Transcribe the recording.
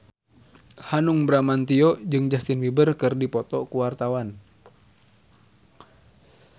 Hanung Bramantyo jeung Justin Beiber keur dipoto ku wartawan